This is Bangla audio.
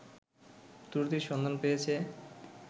ত্রুটির সন্ধান পেয়েছে